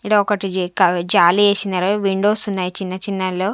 ఈడ ఒకటి జి-- కా-- జాలి ఏసినారు విండోస్ ఉన్నాయి చిన్న చిన్న లో.